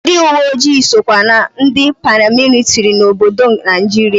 Ndị uweojii sokwa na ndị paramilitiri n'obodo Naijiria.